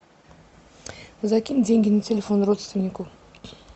закинь деньги на телефон родственнику